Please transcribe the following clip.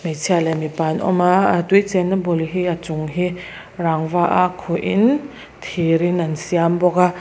hmeichhia leh mipa an awm a ah tui chen na bul hi a chung hi rangva a khuh in thir in an siam bawk a.